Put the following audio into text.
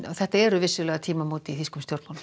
þetta eru tímamót í þýskum stjórnmálum